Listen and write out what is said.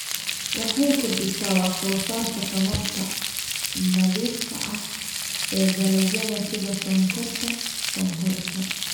Waxay kordhisaa wax soo saarka tamarta nadiifka ah ee dalagyada sida sonkorta sonkorta.